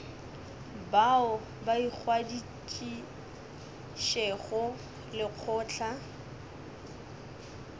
bao ba ingwadišitšego le lekgotla